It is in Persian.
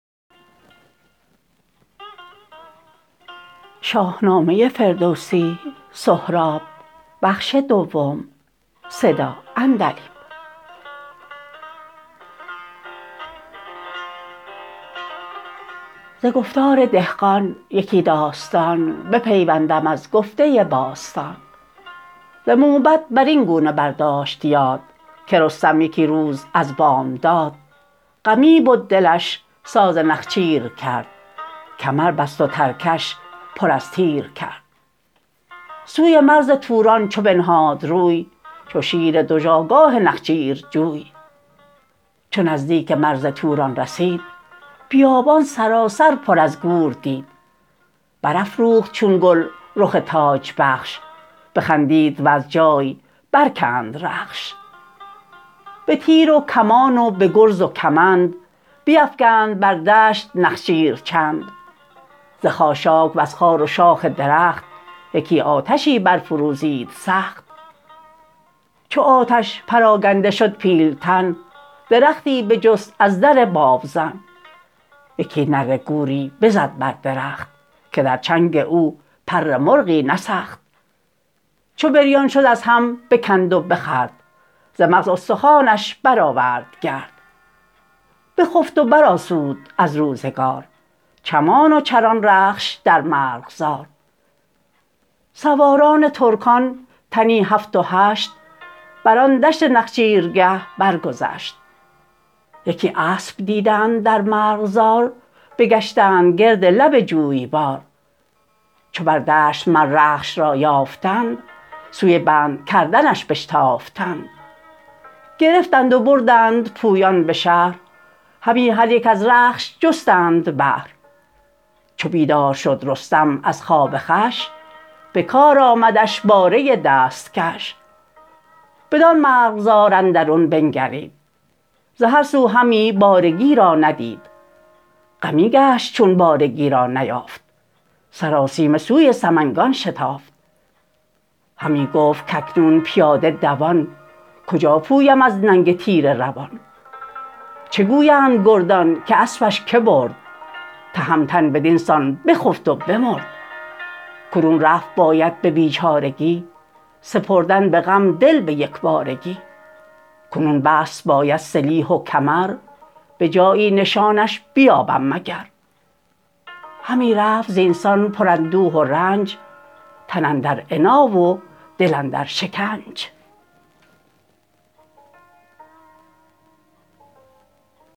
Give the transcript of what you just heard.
ز گفتار دهقان یکی داستان بپیوندم از گفته باستان ز موبد برین گونه بر داشت یاد که رستم یکی روز از بامداد غمی بد دلش ساز نخچیر کرد کمر بست و ترکش پر از تیر کرد سوی مرز توران چو بنهاد روی چو شیر دژآگاه نخچیرجوی چو نزدیکی مرز توران رسید بیابان سراسر پر از گور دید برافروخت چون گل رخ تاج بخش بخندید وز جای برکند رخش به تیر و کمان و به گرز و کمند بیفگند بر دشت نخچیر چند ز خاشاک وز خار و شاخ درخت یکی آتشی برفروزید سخت چو آتش پراگنده شد پیلتن درختی بجست از در بابزن یکی نره گوری بزد بر درخت که در چنگ او پر مرغی نسخت چو بریان شد از هم بکند و بخورد ز مغز استخوانش برآورد گرد بخفت و برآسود از روزگار چمان و چران رخش در مرغزار سواران ترکان تنی هفت و هشت بران دشت نخچیرگه برگذشت یکی اسپ دیدند در مرغزار بگشتند گرد لب جویبار چو بر دشت مر رخش را یافتند سوی بند کردنش بشتافتند گرفتند و بردند پویان به شهر همی هر یک از رخش جستند بهر چو بیدار شد رستم از خواب خوش به کار امدش باره دستکش بدان مرغزار اندرون بنگرید ز هر سو همی بارگی را ندید غمی گشت چون بارگی را نیافت سراسیمه سوی سمنگان شتافت همی گفت کاکنون پیاده دوان کجا پویم از ننگ تیره روان چه گویند گردان که اسپش که برد تهمتن بدین سان بخفت و بمرد کنون رفت باید به بیچارگی سپردن به غم دل به یکبارگی کنون بست باید سلیح و کمر به جایی نشانش بیابم مگر همی رفت زین سان پر اندوه و رنج تن اندر عنا و دل اندر شکنج